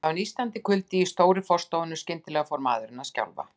Það var nístandi kuldi í stóru forstofunni, og skyndilega fór maðurinn að skjálfa.